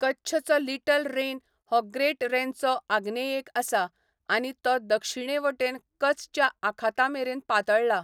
कच्छचो little Rann हो great रॅनचे आग्नेयेक आसा, आनी तो दक्षिणेवटेन कचच्या आखातमेरेन पातळ्ळा.